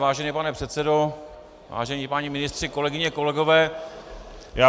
Vážený pane předsedo, vážení páni ministři, kolegyně, kolegové.